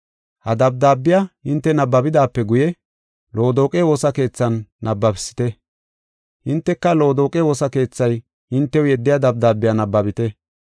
Ha dabdaabiya hinte nabbabidaape guye, Loodoqe woosa keethan nabbabisite. Hinteka Loodoqe woosa keethay hintew yeddiya dabdaabiya nabbabite.